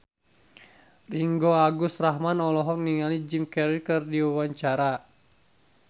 Ringgo Agus Rahman olohok ningali Jim Carey keur diwawancara